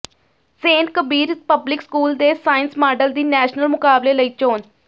Saint Kabir Public School ਦੇ science model ਦੀ national ਮੁਕਾਬਲੇ ਲਈ ਚੋਣ